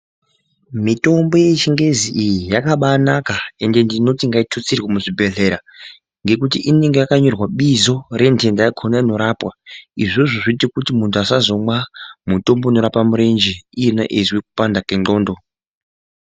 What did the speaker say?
Mitombo yechingezi iyi yakabanaka ende ndinoti ngaitutsirwe muzvibhedhlera ngekuti inenge yakanyorwa bizo rendenda yakona inorapwa izvozvo zvoite kuti muntu asazomwa mutombo inorapa murenje iyena eizwa kupanda kwendxondo.